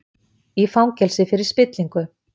Í fangelsi fyrir spillingu